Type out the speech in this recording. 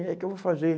É, o que eu vou fazer?